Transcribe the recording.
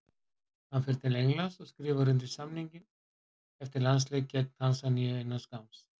Hann fer til Englands og skrifar undir samning eftir landsleik gegn Tansaníu innan skamms.